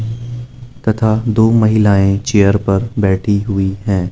तथा दो महिलाएं चेयर पर बैठी हुई है।